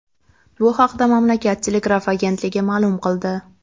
Bu haqda mamlakat telegraf agentligi ma’lum qildi .